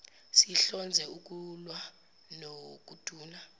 sihlonze ukulwa nokuduna